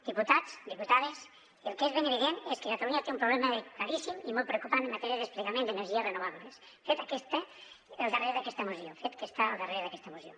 diputats diputades el que és ben evident és que catalunya té un problema claríssim i molt preocupant en matèria de desplegament d’energies renovables fet que està al darrere d’aquesta moció